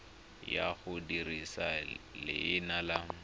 ya go dirisa leina la